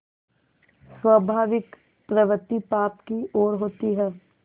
स्वाभाविक प्रवृत्ति पाप की ओर होती है